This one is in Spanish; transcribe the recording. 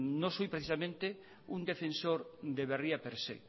no soy precisamente un defensor de berria per se